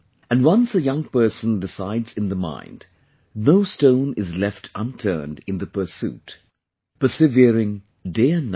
And once a young person decides in the mind, no stone is left unturned in the pursuit...persevering day and night